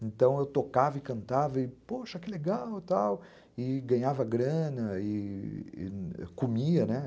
Então, eu tocava e cantava e, poxa, que legal, tal, e ganhava grana e comia, né?